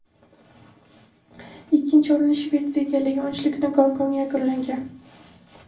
Ikkinchi o‘rinni Shvetsiya egallagan, uchlikni Gonkong yakunlagan.